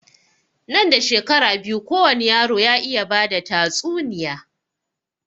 Nan da shekaru biyu kowani yaro ya iya bada tatsuniya